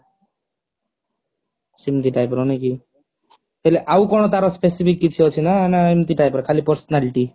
ସେମତି type ର ନୁହେଁ କି ହେଲେ ଆଉ କେଏନ ତାର specific କିଛି ଅଛି ନା ଏମତି type ର ଖାଲି personality